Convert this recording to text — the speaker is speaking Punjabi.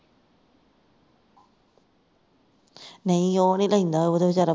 ਨਹੀ ਉਹ ਨਹੀਂ ਤੇ ਇਹਨਾਂ ਉਹ ਤੇ ਵਿਚਾਰਾਂ